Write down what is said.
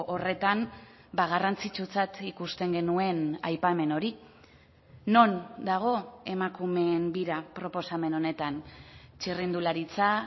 horretan garrantzitsutzat ikusten genuen aipamen hori non dago emakumeen bira proposamen honetan txirrindularitza